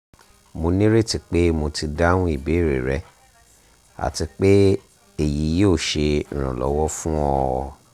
mo nireti pe mo ti dahun ibeere rẹ ati pe eyi yoo ṣe iranlọwọ fun ọ